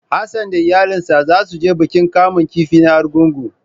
Hassan da iyalansa zasu je bikin kamun kifi na Argungu.